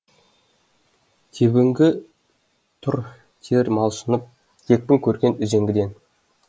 тебінгі тұр тер малшынып текпін көрген үзеңгіден